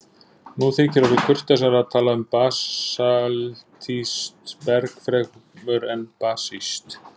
Nú orðið þykir kurteisara að tala um basaltískt berg fremur en basískt.